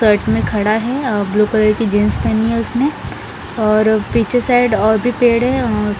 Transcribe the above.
तड में खड़ा हैं ब्लू कलर की जीन्स पहनी हैं उसने और पीछे साइड और भी पेड़ हैं अ--